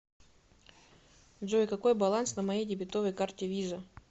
джой какой баланс на моей дебетовой карте виза